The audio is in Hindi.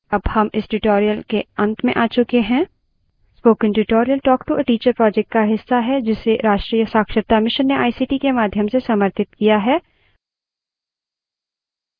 अब हम इस tutorial के अंत में a चुके हैं spoken tutorial talk to a teacher project का हिस्सा है जिसे राष्ट्रीय साक्षरता mission ने ict के माध्यम से समर्थित किया है